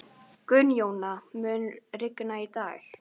Gunnjóna, mun rigna í dag?